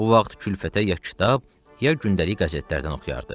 Bu vaxt külfətə ya kitab, ya gündəlik qəzetlərdən oxuyardı.